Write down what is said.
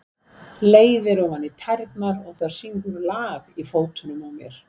Leiðir ofan í tærnar og það syngur lag í fótunum á mér.